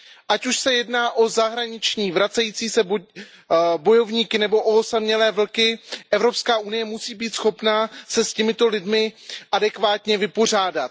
Ať už se jedná o zahraniční vracející se bojovníky nebo o osamělé vlky, Evropská unie musí být schopna se s těmito lidmi adekvátně vypořádat.